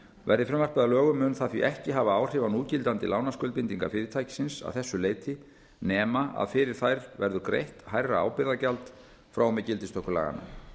verði frumvarpið að lögum mun það því ekki hafa áhrif á núgildandi lánaskuldbindingar fyrirtækisins að þessu leyti nema að fyrir þær verður greitt hærra ábyrgðargjald frá og með gildistöku laganna